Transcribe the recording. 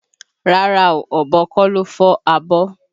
Rárá o, ọ̀bọ kọ́ ló fọ́ abọ́.